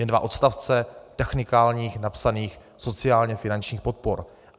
Jen dva odstavce technikálních napsaných sociálně finančních podpor.